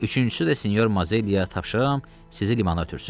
Üçüncüsü də senyor Mazelliyə tapşırıram sizi limana ötürsün.